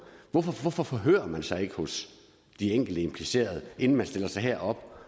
hvorfor forhører man sig ikke hos de enkelte implicerede inden man stiller sig herop